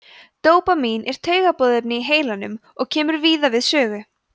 dópamín er taugaboðefni í heilanum og kemur víða við sögu